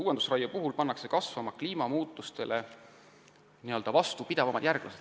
Uuendusraie puhul saab kasvama panna kliimamuutustele vastupidavamaid järglasi.